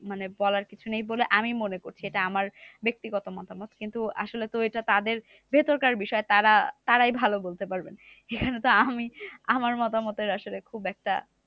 মানে বলার কিছু নেই বলে আমি মনে করছি। এটা আমার ব্যাক্তিগত মতামত। কিন্তু আসলে তো এটা তাদের ভেতরকার বিষয়। তারা তারাই ভালো বলতে পারবে। এখানে তো আমি আমার মতামতের আসলে খুব একটা